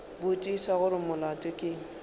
botšiša gore molato ke eng